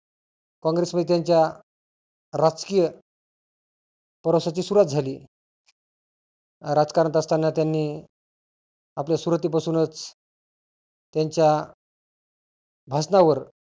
कॉंग्रेस मध्ये त्यांच्या राजकीय प्रवासाची सुरुवात झाली. राजकारणात असताना त्यांनी आपल्या सुरुवाती पासूनच त्यांच्या भाषणावर